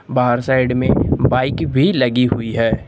बाहर साइड में बाइक भी लगी हुई है।